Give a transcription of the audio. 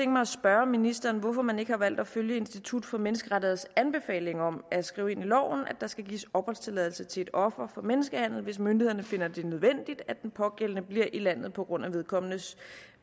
mig at spørge ministeren hvorfor man ikke har valgt at følge institut for menneskerettigheders anbefaling om at skrive ind i loven at der skal gives opholdstilladelse til et offer for menneskehandel hvis myndighederne finder det nødvendigt at den pågældende bliver i landet på grund af vedkommendes